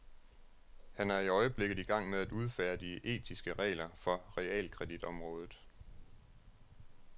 Han er i øjeblikket i gang med at udfærdige etiske regler for realkreditområdet.